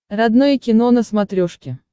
родное кино на смотрешке